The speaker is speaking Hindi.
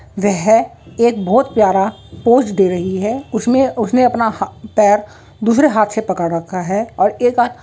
वह एक बोहत प्यारा पोज़ दे रही है उसमें उसने अपना हा-पैर दूसरे हाथ से पकड़ रखा है और एक हा--